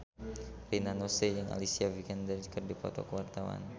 Rina Nose jeung Alicia Vikander keur dipoto ku wartawan